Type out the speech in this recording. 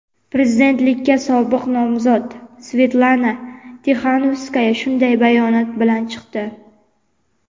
prezidentlikka sobiq nomzod Svetlana Tixanovskaya shunday bayonot bilan chiqdi.